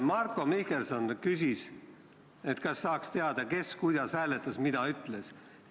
Marko Mihkelson küsis, kas saaks teada, kes kuidas hääletas ja kes mida ütles.